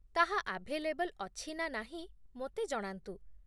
ତାହା ଆଭେଲେବ୍‌ଲ୍ ଅଛି ନା ନାହିଁ ମୋତେ ଜଣାନ୍ତୁ।